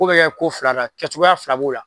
Ko bɛ kɛ ko fila la kɛcogoya fila b'o la